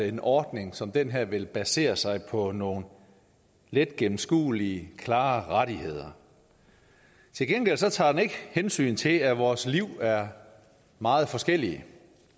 en ordning som den her vil basere sig på nogle letgennemskuelige og klare rettigheder til gengæld tager den ikke hensyn til at vores liv er meget forskellige